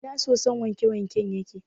Ina sosun wanke-wanken yake ne?